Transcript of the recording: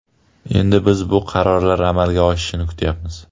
Endi biz bu qarorlar amalga oshishini kutayapmiz.